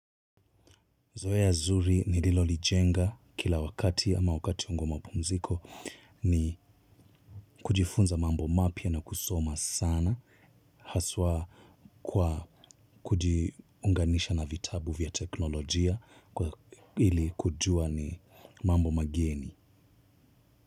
Zoea zuri nililo lijenga kila wakati ama wakati wangu wa mapumziko ni kujifunza mambo mapya na kusoma sana haswa kwa kujiunganisha na vitabu vya teknolojia kwa hili kujua ni mambo mageni.